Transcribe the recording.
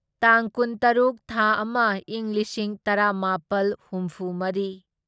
ꯇꯥꯡ ꯀꯨꯟꯇꯔꯨꯛ ꯊꯥ ꯑꯃ ꯢꯪ ꯂꯤꯁꯤꯡ ꯇꯔꯥꯃꯥꯄꯜ ꯍꯨꯝꯐꯨꯃꯔꯤ